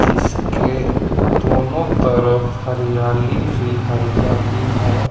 जिसके दोनों तरफ हरियाली ही हरियाली है।